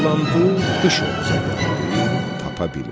Dolandı, dış Oğuzu gəzdi, tapa bilmədi.